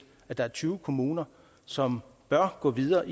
at der er tyve kommuner som bør gå videre